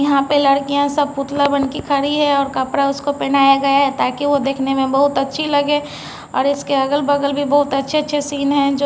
यहां पे लड़कियां सब पुतला बन के खड़ी है और कपड़ा उसको पहनाया गया है ताकि वो देखने में बहुत अच्छी लगे और इसके अगल-बगल भी बहुत अच्छे-अच्छे सीन है जो--